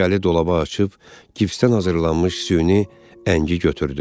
Şüşəli dolaba açıb, gipsdən hazırlanmış süni əngi götürdü.